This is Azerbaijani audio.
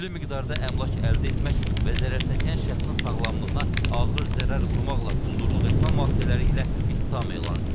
Külli miqdarda əmlak əldə etmək və zərərçəkən şəxsin sağlamlığına ağır zərər vurmaqla quldurluq etmə maddələri ilə ittiham elan edilib.